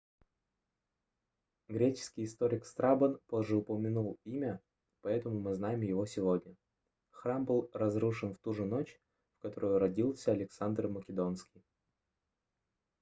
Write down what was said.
греческий историк страбон позже упомянул имя поэтому мы знаем его сегодня храм был разрушен в туже ночь в которую родился александр македонский